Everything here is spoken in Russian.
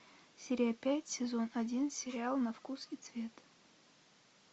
серия пять сезон один сериал на вкус и цвет